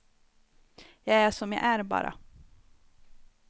Jag är som jag är, bara.